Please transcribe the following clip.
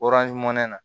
na